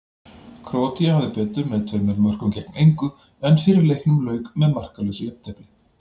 Króatía hafði betur með tveimur mörkum gegn engu, en fyrri leiknum lauk með markalausu jafntefli.